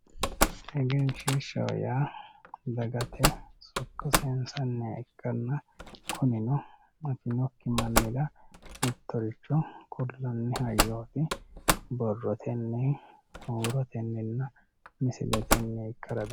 egenshiishshaho yaa dagate sokko sayiinsanniha ikkaanna kunino afinokki mannira mittoricho kullaani hayyooti borrotenni huurotenninna misiletenni ikkara dandaanno